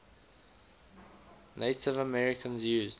native americans used